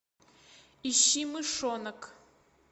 ищи мышонок